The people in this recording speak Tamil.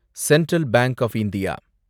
central Bank of India